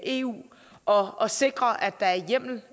eu og og sikrer at der er hjemmel